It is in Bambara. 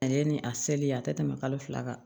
Ale ye ni a seli ye a tɛ tɛmɛ kalo fila kan